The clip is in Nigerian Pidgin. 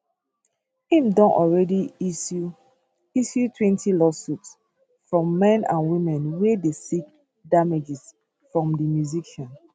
im don already issue issuetwentylawsuits from men and women wey dey seek damages from di musician